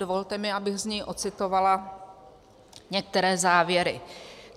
Dovolte mi, abych z něj ocitovala některé závěry.